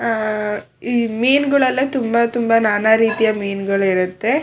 ಆಹ್ಹ್ ಈ ಮೀನುಗಳೆಲ್ಲ ತುಂಬಾ ತುಂಬಾ ನಾನಾ ರೀತಿಯ ಮೀನುಗಳು ಇರುತ್ತೆ.